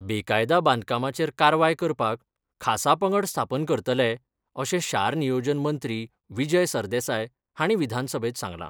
बेकायदा बांदकामाचेर कारवाय करपाक खासा पंगड स्थापन करतले अशें शार नियोजन मंत्री विजय सरदेसाय हांणी विधानसभेत सांगलां.